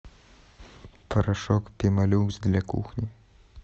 порошок пемолюкс для кухни